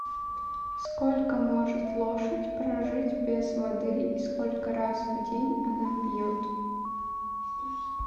сколько может лошадь прожить без воды и сколько раз в день она пьет